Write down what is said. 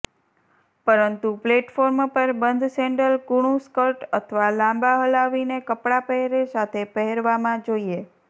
પરંતુ પ્લેટફોર્મ પર બંધ સેન્ડલ કૂણું સ્કર્ટ અથવા લાંબા હલાવીને કપડાં પહેરે સાથે પહેરવામાં જોઇએ